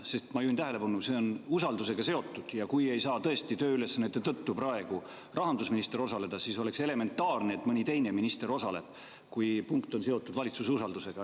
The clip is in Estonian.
Sest ma juhin tähelepanu, et see on usaldusega seotud, ja kui rahandusminister ei saa tõesti praegu tööülesannete tõttu osaleda, siis oleks elementaarne, et mõni teine minister osaleb, kui punkt on seotud valitsuse usaldusega.